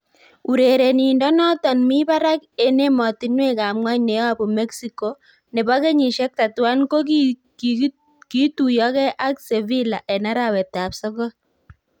Urerenindonoton mi barak en emotinwek ab ng'wony neyobu Mexico, nebo kenyisiek 31, kogiituiyogee ak Sevilla en arawet ab sogol.